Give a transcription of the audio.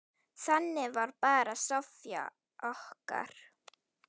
Þannig var bara Soffía okkar.